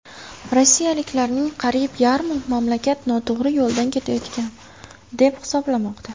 Rossiyaliklarning qariyb yarmi mamlakat noto‘g‘ri yo‘ldan ketayotgan deb hisoblamoqda.